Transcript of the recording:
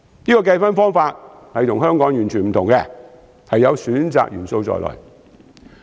這個計分方法與香港完全不同，有選擇元素在內。